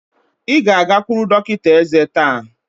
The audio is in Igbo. Ị ga-agakwuru dọkịta ézé taa!